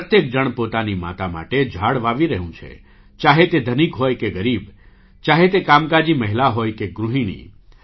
પ્રત્યેક જણ પોતાની માતા માટે ઝાડ વાવી રહ્યું છે - ચાહે તે ધનિક હોય કે ગરીબ ચાહે તે કામકાજી મહિલા હોય કે ગૃહિણી